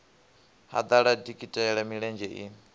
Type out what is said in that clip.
ha ḓala dikitela milenzhe i